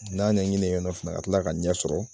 N ya ɲɛ ɲini yen fana ka kila ka ɲɛ sɔrɔ